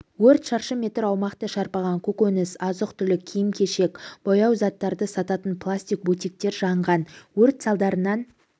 өрт шаршы метр аумақты шарпыған көкөніс азық-түлік киім-кешек лау-бояу заттары сататын пластик бутиктер жанған өрт салдарынан